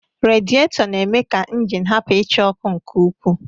Radịetọ na-eme ka ịnjin hapụ ichaa ọkụ nke ukwuu.